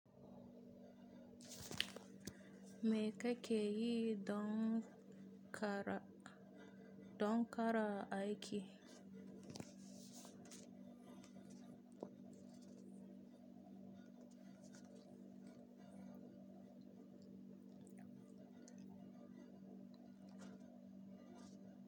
Me ka ke yi don don ƙara aiki?